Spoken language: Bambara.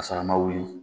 Ka sɔrɔ a ma wuli